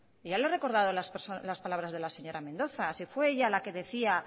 y ya lo he recordado las palabras de la señora mendoza si fue ella la que decía